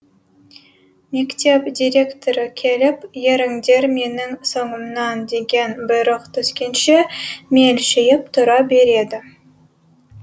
мектеп директоры келіп еріңдер менің соңымнан деген бұйрық түскенше мелшиіп тұра береді